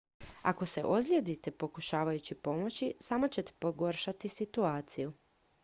ako se ozlijedite pokušavajući pomoći samo ćete pogoršati situaciju